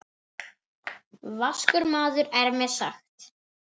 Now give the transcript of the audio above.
Vaskur maður er mér sagt.